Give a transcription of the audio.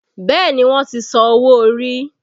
Bẹẹ ni, wọ́n ti san owó orí